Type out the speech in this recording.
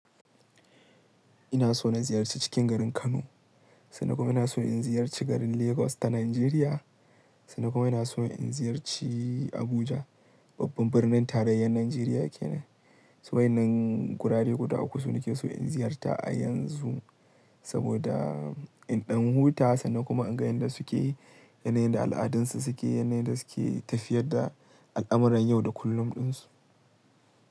Ina so na ziyarci cikin garin Kano, sannan kuma ina so in ziyarci garin Lagos ta Najeriya, sannan kuma ina so in ziyarci Abuja, babban birnin tarayyar Najeriya ke nan. To waɗannan gurare guda uku su ne ke so in ziyarta a yanzu saboda in ɗan huta sannan kuma in ga yan da suke yi, yanayin da al'adunsu suke, yanayin da suke tafiyar da al'amuran yau da kullum ɗinsu.